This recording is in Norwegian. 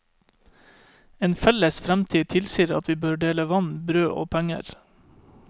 En felles fremtid tilsier at vi bør dele vann, brød og penger.